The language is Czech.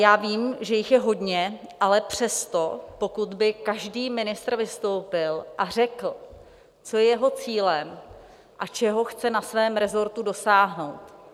Já vím, že jich je hodně, ale přesto, pokud by každý ministr vystoupil a řekl, co je jeho cílem a čeho chce na svém resortu dosáhnout.